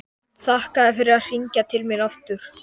Þakka þér fyrir að hringja til mín aftur.